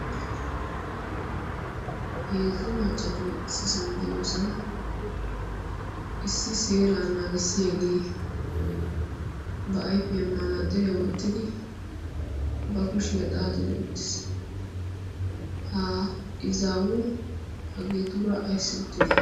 heezzu maccati siisan de'iyoosan issi seera naagissiyaagee ba ifiyaa maanaaxxiriyaa wottidi ba kushiyaa xaaxidi uttiis ha izaawu ha geetuura ayssi uttidi?